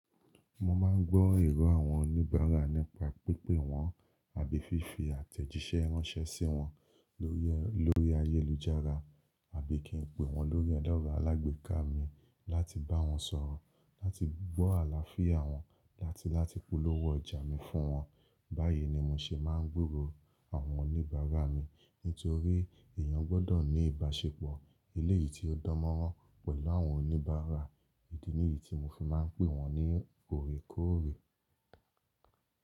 Mo máa ń gbọ́ èrò àwọn oníbàárà nípa pípè wọ́n àbí fífi àtẹ̀jíṣẹ́ ránṣẹ́ sí wọn lórí ayélujára àbí kí n pe wọn lórí ada ọ̀rọ̀ alágbèéká mi láti bá wọn sọ̀rọ̀, láti gbọ́ àlàáfíà wọn láti láti polówó ọjà mi fún wọn. Báyìí ni mo ṣe máa ń gburò àwọn oníbàárà mi nítorí èèyàn gbọ́dọ̀ ní ìbáṣepọ̀ eléyìí tí ó dánmọ́rán pẹ̀lú àwọn oníbàárà. Ìdí niyí tí mo fi máa ń pè wọ́n ní òrèkóòrè.